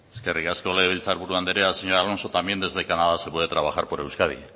eskerrik asko legebiltzar buru andrea señor alonso también desde canadá se puede trabajar por euskadi